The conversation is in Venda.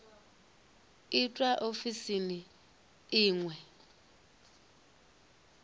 itwa ofisini i ṅ we